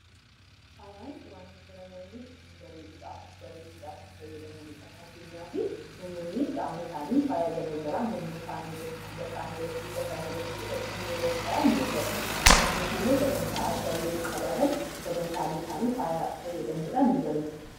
Faayaan wantoota namoonni ittiin bareeduu dhaaf, of bareechuu dhaaf itti fayyadamani dha. Fakkeenyaaf namoonnii qaama isaani faaya gara garaa morma isaanii irratti, quba isaanii irratti, luka isaanii irratti godhachuun yeroo of faayan ni agarra. Akkasumas illee sagantaa addaa yeroo qabaatan sagantaalee isaanii faaya fayyadamuu dhaan ni bareechatu.